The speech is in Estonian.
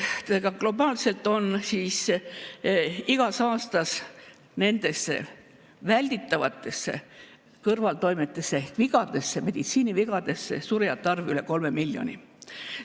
Teiste sõnadega, globaalselt on igal aastal nendesse välditavatesse kõrvaltoimetesse ehk meditsiini vigadesse surijate arv üle 3 miljoni.